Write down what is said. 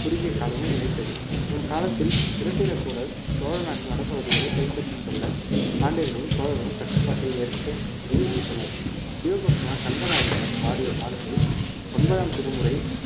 குறுகிய காலமே நிலைத்தது இவன் காலத்தில் இராட்டிரகூடர் சோழ நாட்டு வடபகுதிகளை கைப்பற்றிக் கொள்ள பாண்டியர்களும் சோழரும் கட்டுப்பாட்டை ஏற்க விட்டனர் சிவபக்தன் கண்டராதித்தன் பாடிய பாடல்கள் ஒன்பதாம் திருமுறை